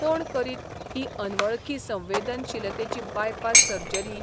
कोण करीत ही 'अनवळखी संवेदनशीलते'ची बायपास सर्जरी?